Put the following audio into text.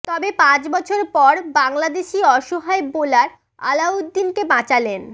তবে পাঁচ বছর পর বাংলাদেশি অসহায় বোলার আলাউদ্দিনকে বাঁচালেন